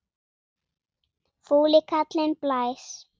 Fúli kallinn blæs.